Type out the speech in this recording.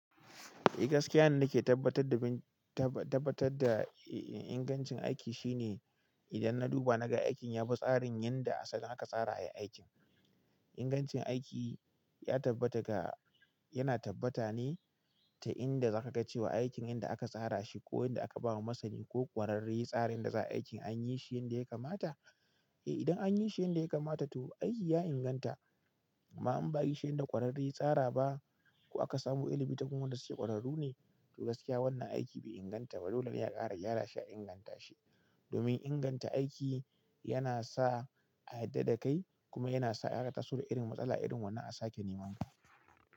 Eh gaskiya yanda na ke tabbatar da ingancin aiki shine idan na duba na ga aikin ya bi tsarin yanda asalin aka tsara aiki. Ingancin aiki ya tabbata ga yana tabbata ne ta inda za ka ga cewa aikin yanda aka tsara shi ko yanda aka ba wa masani ko ƙwararre tsarin da za a yi aikin an yi shi yanda ya kamata. Idan an yi shi yanda ya kamata to aiki ya inganta amma in ba a yi shi yanda ƙwararre ya tsara ba ko aka samo ilimi ta gun wanda suke ƙwararru ne to gaskiya wannan aiki bai inganta ba. Dolene a ƙara gyara shi a inganta shi. Domin inganta aiki yana sa a yarda da kai kuma yana sa a ƙara taso da irin matsala irin wannan a sake nemanka.